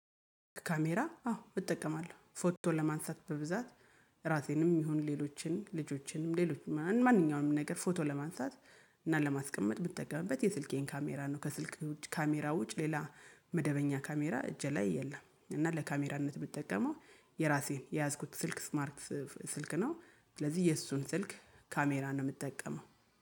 ካሜራ አዎ እጠቀማለሁ ፎቶ ለማንሳት በብዛት ራሴንም ይሁን ሌሎችን ልጆችንም ሌሎችን ማንኛውንም ነገር ፎቶ ለማንሳት እና ለማስቀመጥ የምትጠቀምበት የስልኬን ካሜራ ነው። ከስልክ ካሜራ ውጭ ሌላ መደበኛ ካሜራ እጄ ላይ የለም። እና ለካሜራነት ብጠቀመው የራሴን የያዝኩት ስልክ ስማርት ስልክ ነው ስለዚህ የእሱን ስልክ ካሜራ ነው የምጠቀመው